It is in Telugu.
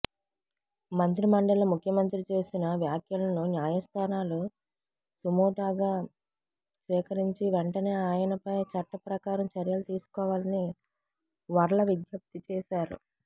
మంత్రిమండలిలో ముఖ్యమంత్రి చేసిన వ్యాఖ్యలను న్యాయస్థానాలు సుమోటాగా స్వీకరించి వెంటనే ఆయనపై చట్టప్రకారం చర్యలు తీసుకోవాలని వర్ల విజ్ఞప్తి చేశారు